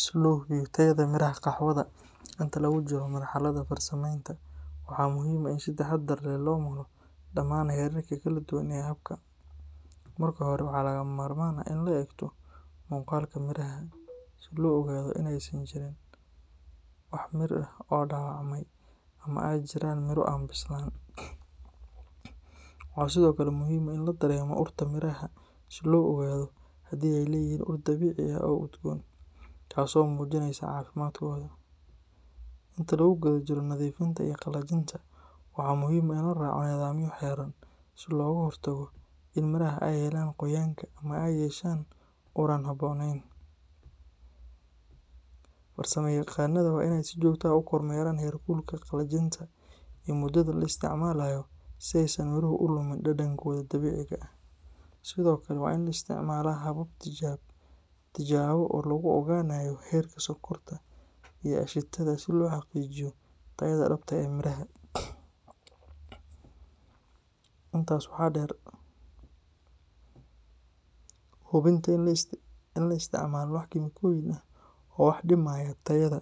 Si loo hubiyo tayada miraha qaxwada inta lagu jiro marxaladda farsamaynta, waxaa muhiim ah in si taxaddar leh loo maro dhammaan heerarka kala duwan ee habka. Marka hore, waxaa lagama maarmaan ah in la eegto muuqaalka miraha si loo ogaado in aysan jirin wax mir ah oo dhaawacmay ama ay jiraan mirro aan bislaan. Waxaa sidoo kale muhiim ah in la dareemo urta miraha si loo ogaado haddii ay leeyihiin ur dabiici ah oo udgoon, taasoo muujinaysa caafimaadkooda. Inta lagu guda jiro nadiifinta iyo qalajinta, waxaa muhiim ah in la raaco nidaamyo xeeran si looga hortago in miraha ay helaan qoyaanka ama ay yeeshaan ur aan habboonayn. Farsamayaqaanada waa inay si joogto ah u kormeeraan heerkulka qalajinta iyo muddada la isticmaalayo si aysan miruhu u lumin dhadhankooda dabiiciga ah. Sidoo kale, waa in la isticmaalaa habab tijaabo oo lagu ogaanayo heerka sonkorta iyo aashitada si loo xaqiijiyo tayada dhabta ah ee miraha. Intaas waxaa dheer, hubinta in aan la isticmaalin wax kiimikooyin ah oo wax u dhimaya tayada